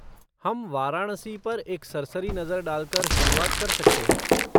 हम वाराणसी पर एक सरसरी नजर डालकर शुरुआत कर सकते हैं।